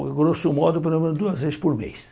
Olha, grosso modo, pelo menos duas vezes por mês.